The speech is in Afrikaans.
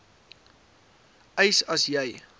eis as jy